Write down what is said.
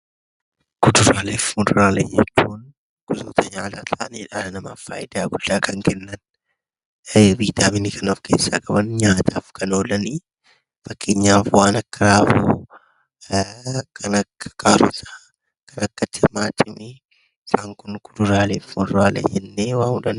Kuduraalee fi muduraalee jechuun gosoota nyaataa ta'anii dhala namaaf faayidaa guddaa kan kennan, viitaaminii kan of keessaa qaban, nyaataaf kan oolan. Fakkeenyaaf waan akka avokaadoo, kan akka kaarotii, timaatimii isaan kun kuduraalee fi muduraalee jennee waamuu dandeenya.